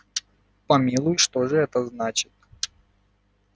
помилуй что же это значит